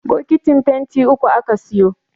bokitin fenti uku aka siyo